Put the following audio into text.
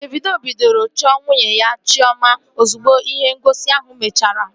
Davido bidoro ịchọ nwunye ya Chiọma ozugbo ihe ngosi ahụ mechara